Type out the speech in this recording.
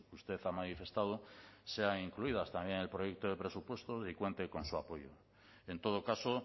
usted ha manifestado sean incluidas también en el proyecto de presupuestos y cuenten con su apoyo en todo caso